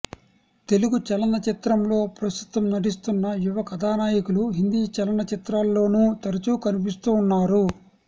తెలుగు చలన చిత్రంలో ప్రస్తుతం నటిస్తున్న యువ కధానాయకులు హిందీ చలన చిత్రాల్లోనూ తరుచు కనిపిస్తూ ఉన్నారు